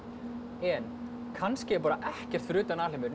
en kannski er ekkert fyrir utan alheiminn